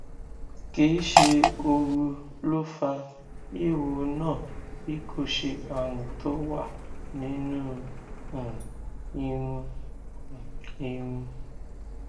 kì í ṣe ooru ló fa eéwo náà bí kò ṣe àrùn tó wà nínú um irun um irun